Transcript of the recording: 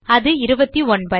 அது 29